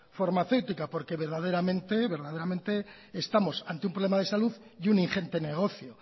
farmacéutica porque verdaderamente estamos ante un problema de salud y un ingente negocio